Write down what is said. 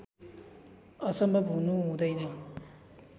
असम्भव हुनु हुँदैन